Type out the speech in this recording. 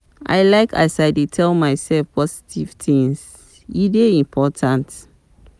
I like as I dey tell mysef positive tins, e dey important.